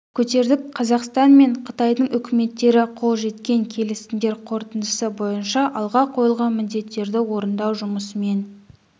көтердік қазақстан мен қытайдың үкіметтері қол жеткен келісімдер қорытындысы бойынша алға қойылған міндеттерді орындау жұмысымен